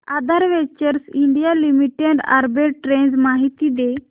आधार ventures India limited arbitrage माहिती दे